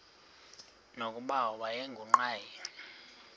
nokuba wayengu nqal